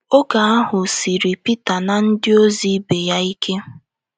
Oge ahụ siiri Pita na ndịozi ibe ya ike.